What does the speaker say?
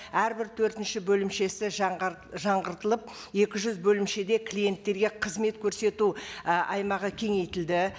әрбір төртінші бөлімшесі жаңғыртылып екі жүз бөлімшеде клиенттерге қызмет көрсету і аймағы кеңейтілді